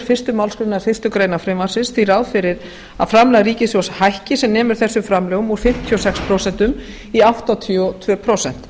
fyrstu málsgrein fyrstu grein frumvarpsins því ráð fyrir að framlag ríkissjóðs hækki sem nemur þessum framlögum úr fimmtíu og sex prósent í áttatíu og tvö prósent